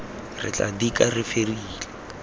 re tla dika re fedile